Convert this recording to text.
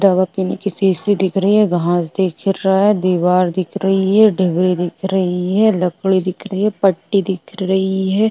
दवा पीने की शीशी दिख रही है घास दिख रहा है दीवार दिख रही है डिबरी दिख रही है लकड़ी दिख रही है पट्टी दिख रही है।